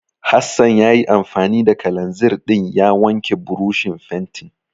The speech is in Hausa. Hassan ya yi anfani da kalanzir ɗin ya wanke burushin fentin.